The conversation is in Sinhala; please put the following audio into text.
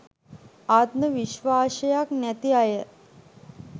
ආත්ම විස්වාසයක් නැති අය